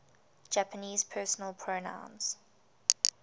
japanese personal pronouns